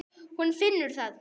Hún finnur það.